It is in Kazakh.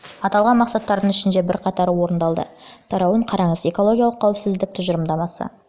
аталған мақсаттардың ішінде бірқатары орындалды тарауын қараңыз экологиялық қауіпсіздік тұжырымдамасы